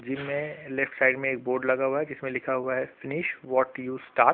Gym में left side में एक बोर्ड लगा हुआ है जिसमें लिखा हुआ है फिनिश वॉट यू स्टार्ट ।